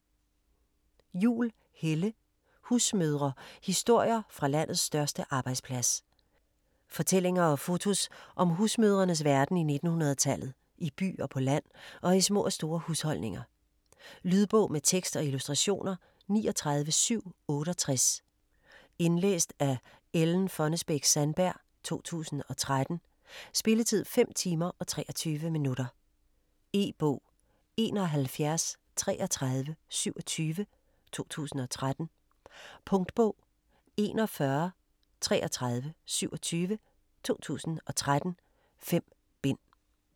Juhl, Helle: Husmødre: historier fra landets største arbejdsplads Fortællinger og fotos om husmødrenes verden i 1900-tallet - i by og på land og i små og store husholdninger. Lydbog med tekst og illustrationer 39768 Indlæst af Ellen Fonnesbech-Sandberg, 2013. Spilletid: 5 timer, 23 minutter. E-bog 713327 2013. Punktbog 413327 2013. 5 bind.